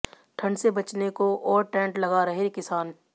ठंड से बचने को और टेंट लगा रहे किसान